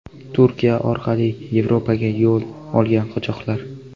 Turkiya orqali Yevropaga yo‘l olgan qochoqlar.